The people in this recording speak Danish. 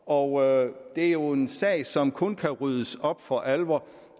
og det er jo en sag som der kun kan ryddes op i for alvor